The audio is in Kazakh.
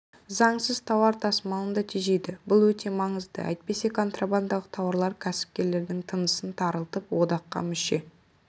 заңсыз тауар тасымалын да тежейді бұл өте маңызды әйтпесе контрабандалық тауарлар кәсіпкерлердің тынысын тарылтып одаққа мүше